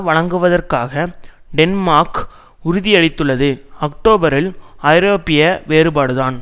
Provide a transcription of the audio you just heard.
வழங்குவதற்காக டென்மார்க் உறதியளித்துள்ளது அக்டோபரில் ஐரோப்பிய வேறுபாடுதான்